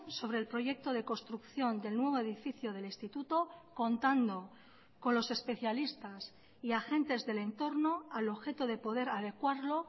sobre el proyecto de construcción del nuevo edificio del instituto contando con los especialistas y agentes del entorno al objeto de poder adecuarlo